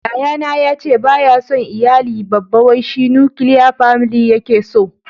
Yayana ya ce ba ya son iyali babba wai shi "nukiliya family" ya ke so